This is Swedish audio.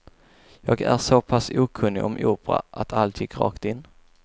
Jag är så pass okunnig om opera att allt gick rakt in.